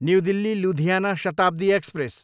new Delhi, Ludhiana Shatabdi express